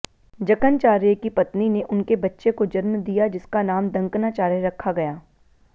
जकनचार्य की पत्नी ने उनके बच्चे को जन्म दिया जिसका नाम दंकनाचार्य रखा गया